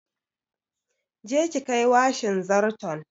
Je ki kai washin zarton!